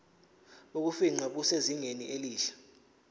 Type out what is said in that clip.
bokufingqa busezingeni elihle